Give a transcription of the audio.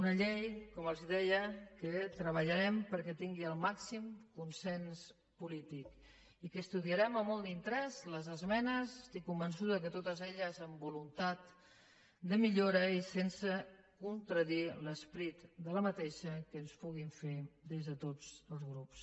una llei que com els deia treballarem perquè tingui el màxim consens polític i que estudiarem amb molt d’interès les esmenes estic convençuda que totes elles amb voluntat de millora i sense contradir l’esperit de la llei que ens puguin fer des de tots els grups